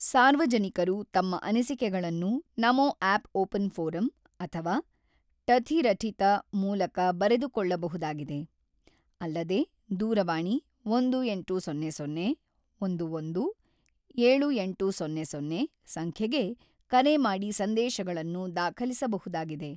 ಸಾರ್ವಜನಿಕರು ತಮ್ಮ ಅನಿಸಿಕೆಗಳನ್ನು 'ನಮೋಆ್ಯಪ್ ಓಪನ್ ಫೋರಂ 'ಅಥವಾ ಟಥಿರಠಿತ ಮೂಲಕ ಬರೆದುಕೊಳ್ಳಬಹುದಾಗಿದೆ, ಅಲ್ಲದೆ ದೂರವಾಣಿ ಒಂದು ಎಂಟು ಸೊನ್ನೆ ಸೊನ್ನೆ-ಒಂದು ಒಂದು-ಏಳು ಎಂಟು ಸೊನ್ನೆ ಸೊನ್ನೆ ಸಂಖ್ಯೆಗೆ ಕರೆ ಮಾಡಿ ಸಂದೇಶಗಳನ್ನು ದಾಖಲಿಸಬಹುದಾಗಿದೆ.